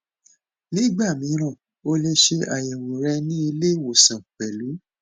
nígbà mìíràn ó lè ṣe ayẹwo rẹ ni ile iwosan pẹlú